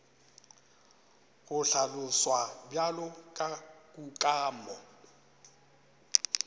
go hlaloswa bjalo ka kukamo